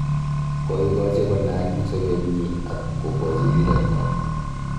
Koigachi konaak eng sabet nyi ak kokachi rirek kora